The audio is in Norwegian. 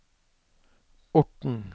Orten